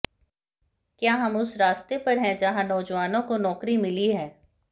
क्या हम उस रास्ते पर हैं जहां नौजवानों को नौकरी मिली है